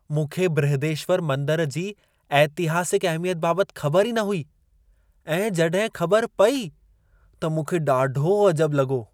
मूंखे बृहदेश्वर मंदर जी ऐतिहासिक अहिमियत बाबति ख़बर ई न हुई ऐं जॾहिं ख़बर पेई त मूंखे ॾाढो अजबु लॻो।